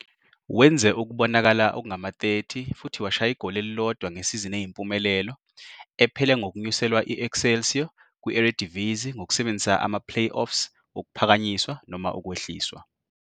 Wenze ukubonakala okungama-30 futhi washaya igoli elilodwa ngesizini eyimpumelelo, ephele ngokunyuselwa i-Excelsior kwi-Eredivisie ngokusebenzisa ama-playoffs wokuphakanyiswa - ukwehliswa.